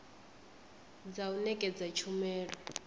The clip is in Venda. dza u nekedza tshumelo dza